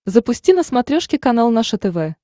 запусти на смотрешке канал наше тв